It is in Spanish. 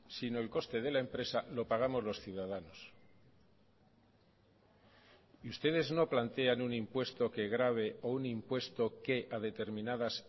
sino el coste de la empresa lo pagamos los ciudadanos y ustedes no plantean un impuesto que grave o un impuesto que a determinadas